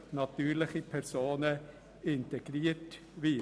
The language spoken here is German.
Das will der Eventualantrag.